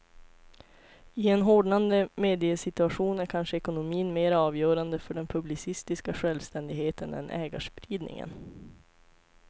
I en hårdnande mediesituation är kanske ekonomin mera avgörande för den publicistiska självständigheten än ägarspridningen.